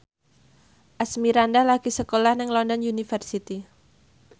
Asmirandah lagi sekolah nang London University